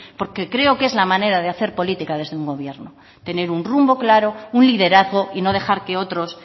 porque creo que es la manera de hacer política desde un gobierno tener un rumbo claro un liderazgo y no dejar que otros